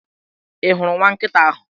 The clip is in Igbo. Ị hụrụ nwa nkịta ahụ?